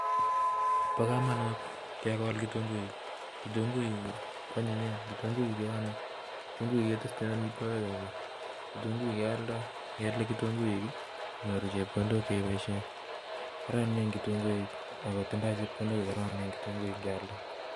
Bo kamanut ke kol kitunguik, kitunguik ko anyinyen, kitunguik ke ame, kitunguik ke testoi amitwogik alak, kitunguik ke oldoi, ye i alde kitunguik inyoru chepkondok che iboshe, kororonen kitunguik ako tindoi chepkondok yoron kitunguik kealda.